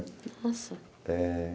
Nossa! Eh